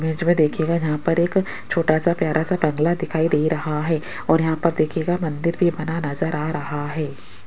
Image में देखिएगा यहां पर एक छोटा सा प्यारा सा बंगला दिखाई दे रहा है और यहां पर देखिएगा मंदिर भी बना नजर आ रहा है।